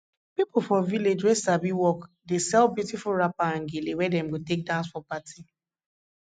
pipo for village wey sabi work dey sell beautiful wrapper and gele wey dem go take dance for party